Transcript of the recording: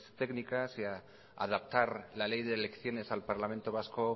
técnicas y adaptar la ley de elecciones al parlamento vasco